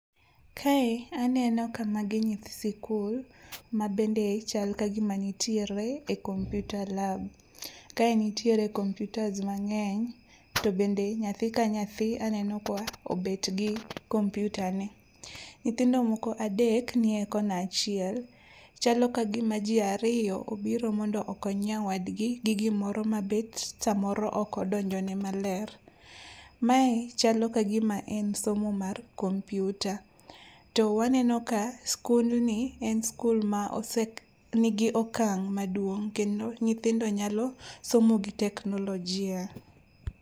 Kae aneno ka magi nyithi sikul mabende chal kagima nitiere e computer lab. Kae nitiere kompiutas mang'eny to bende nyathi ka nyathi aneno ka obetgi kompiutane. Nyithindo moko adek nie kona achiel, chalo kagima ji ariyo obiro mondo okony nyawadgi gi gimoro mabet samoro okodonjone maler. Mae chalo kagima en somo mar kompiuta to waneno ka skundni en skul ma nigi okang' maduong' kendo nyithindo nyalo somo gi teknolojia.